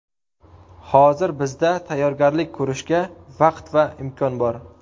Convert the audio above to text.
Hozir bizda tayyorgarlik ko‘rishga vaqt va imkon bor.